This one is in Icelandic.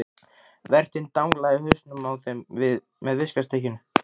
Vertinn danglaði í hausinn á þeim með viskustykkinu.